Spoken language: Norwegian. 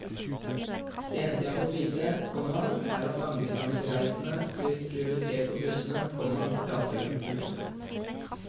Det eneste jeg har fått vite, komma er at langdistansereisende blir prioritert på bussene, komma raser hun. punktum